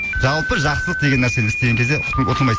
жалпы жақсылық деген нәрсені істеген кезде ұтылмайсыз